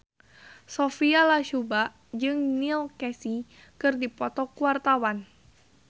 Sophia Latjuba jeung Neil Casey keur dipoto ku wartawan